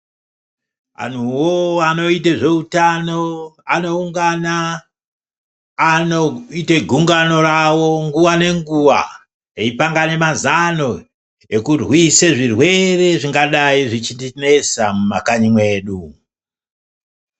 Anhuwo anoite zveutano anoungana anoite gungano rawo nguwa ngenguwa eipangane mazano ekurwise zvirwere zvingadai zvichinesa mumakanyi medu.